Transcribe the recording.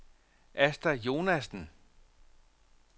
Asta Jonassen